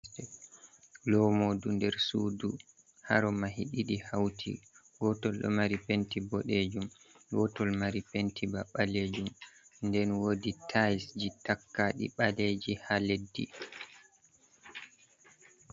Lomoodu nder suudu, haro mahi ɗiɗi hauti gotol ɗo mari penti boɗejum gotol ɗo mari penti ba balejum nden wodi tais ji takadi baleji haa leddi.